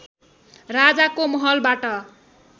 राजाको महलबाट